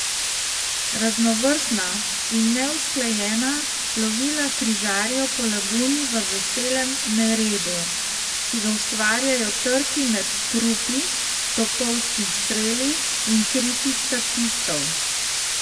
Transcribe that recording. Raznovrstna in neusklajena plovila križarijo po laguni v veselem neredu, ki ga ustvarjajo trki med trupi, topovski streli in kriki statistov.